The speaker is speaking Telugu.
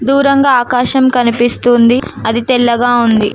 దూరంగా ఆకాశం కనిపిస్తూ ఉంది. అది తెల్లగా ఉంది.